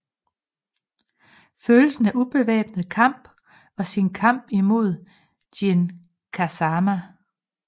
Følelsen af ubevæbnet kamp og sin kamp i mod Jin Kazama